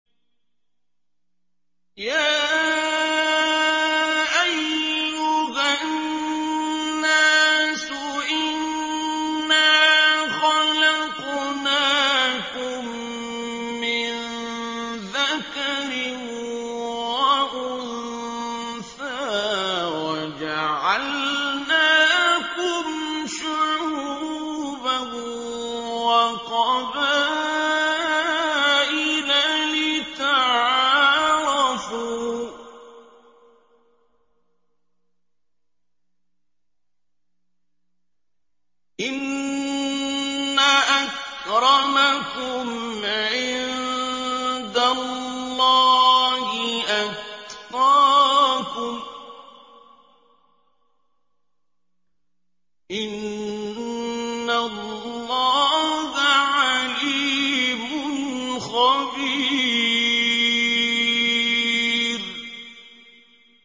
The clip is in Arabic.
يَا أَيُّهَا النَّاسُ إِنَّا خَلَقْنَاكُم مِّن ذَكَرٍ وَأُنثَىٰ وَجَعَلْنَاكُمْ شُعُوبًا وَقَبَائِلَ لِتَعَارَفُوا ۚ إِنَّ أَكْرَمَكُمْ عِندَ اللَّهِ أَتْقَاكُمْ ۚ إِنَّ اللَّهَ عَلِيمٌ خَبِيرٌ